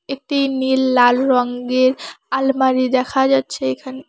একটি নীল লাল রং দিয়ে আলমারি দেখা যাচ্ছে এখানে।